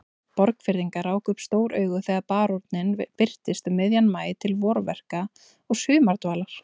Borgfirðingar ráku upp stór augu þegar baróninn birtist um miðjan maí til vorverka og sumardvalar.